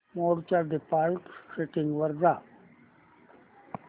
मोड च्या default settings वर जा